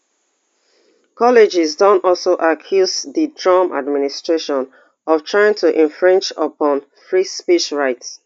colleges don also accuse di trump administration of trying to infringe upon free speech rights